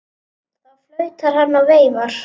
Þá flautar hann og veifar.